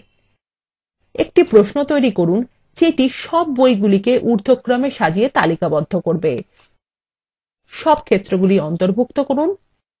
একটি প্রশ্ন তৈরী করুন যেটি সব বইগুলিকে ঊর্ধক্রমে সাজিয়ে তালিকাবদ্ধ করবে